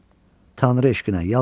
Tanrı eşqinə yalvarıram.